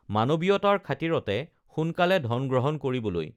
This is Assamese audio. মানৱীয়তাৰ খাতিৰতে সোনকালে ধন গ্ৰহণ কৰিবলৈ